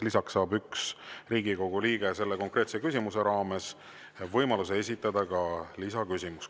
Lisaks saab üks Riigikogu liige selle konkreetse küsimuse raames võimaluse esitada ka lisaküsimuse.